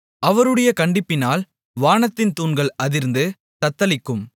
அவருடைய கண்டிப்பினால் வானத்தின் தூண்கள் அதிர்ந்து தத்தளிக்கும்